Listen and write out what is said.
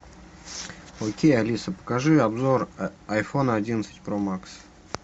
окей алиса покажи обзор айфона одиннадцать про макс